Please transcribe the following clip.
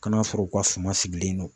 Kan'a sɔrɔ u ka suma sigilen don